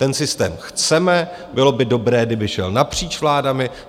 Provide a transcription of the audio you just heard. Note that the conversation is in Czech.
Ten systém chceme, bylo by dobré, kdyby šel napříč vládami.